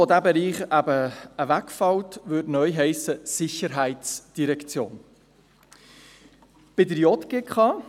Die POM, bei der dieser Bereich wegfällt, würde neu «Sicherheitsdirektion» heissen.